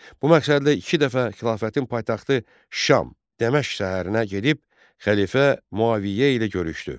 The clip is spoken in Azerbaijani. Bu məqsədlə iki dəfə xilafətin paytaxtı Şam Dəməşq şəhərinə gedib xəlifə Müaviyə ilə görüşdü.